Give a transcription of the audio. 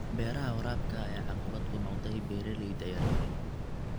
Beeraha waraabka ayaa caqabad ku noqday beeralayda yar yar.